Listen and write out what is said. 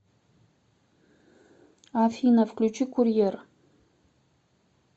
афина включи курьер